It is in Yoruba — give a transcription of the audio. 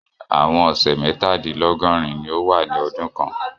Àwọn ọṣẹ mẹtadilọgọrin ní o wà ní ọdún kàn